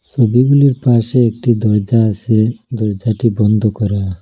সবিগুলির পাশে একটি দরজা আসে দরজাটি বন্ধ করা।